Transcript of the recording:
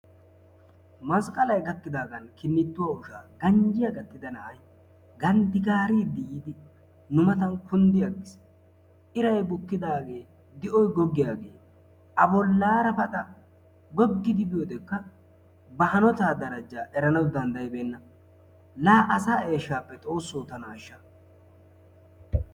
Masqqalay gakkidagan kininttuwa ushshaa ganjjiya gattida na'ay ganddi gaaridi nu matan kunddi agiis. Iray bukkidaage di'oy goggiyaagee a bollaara paxxa goggidi biyoodekka ba hanota daraja erenaw danddayibeena. La asaa eeshshappe Xoosso tana ashsha!